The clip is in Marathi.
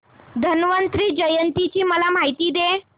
धन्वंतरी जयंती ची मला माहिती दे